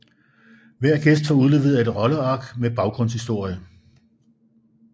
Hver gæst får udleveret et rolleark med baggrundshistorie